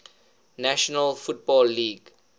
national football league